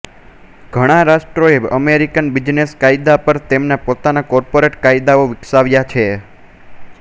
ઘણા રાષ્ટ્રોએ American business કાયદા પર તેમના પોતાના કોર્પોરેટ કાયદાઓ વિકસાવ્યા છે